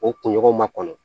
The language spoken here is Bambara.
O kunɲɔgɔn ma kɔnɔ